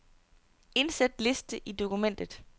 Indsæt liste i dokumentet.